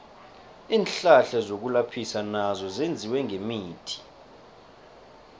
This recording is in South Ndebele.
iinhlahla zokulaphisa nazo zenziwe ngemithi